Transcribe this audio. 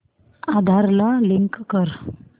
आधार ला लिंक कर